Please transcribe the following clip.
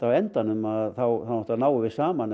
á endanum þá náttúrulega náum við saman